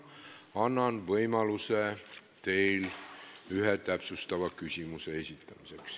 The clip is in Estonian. Annan võimaluse ühe täpsustava küsimuse esitamiseks.